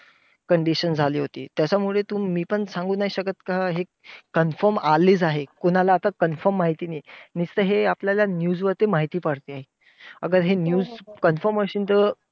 condition झाली होती. त्याच्यामुळे पण नाही सांगू शकत का हे confirm आलीच आहे. कोणाला आता confirm माहिती नाही, नुसतं आपल्याला हे news वरती माहिती पडते. हे news confirm असेल तर.